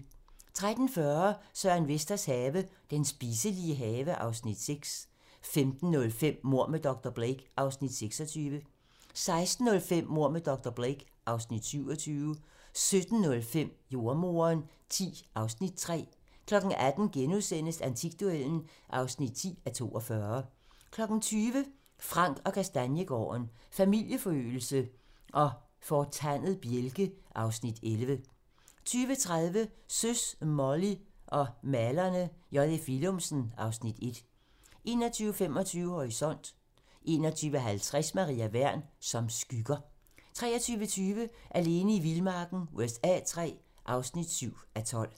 13:40: Søren Vesters have - Den spiselige have (Afs. 6) 15:05: Mord med dr. Blake (Afs. 26) 16:05: Mord med dr. Blake (Afs. 27) 17:05: Jordemoderen X (Afs. 3) 18:00: Antikduellen (10:42)* 20:00: Frank & Kastaniegaarden – Familieforøgelse og fortandet bjælke (Afs. 11) 20:30: Søs, Molly og malerne - J.F. Willumsen (Afs. 1) 21:25: Horisont 21:50: Maria Wern: Som skygger 23:20: Alene i vildmarken USA III (7:12)